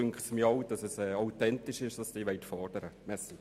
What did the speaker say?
Dann erscheint mir auch authentisch, was Sie fordern wollen.